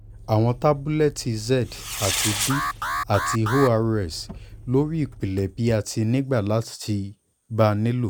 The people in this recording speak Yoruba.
awọn tabulẹti z ati d ati ors lori ipilẹ bi ati nigbati o ba nilo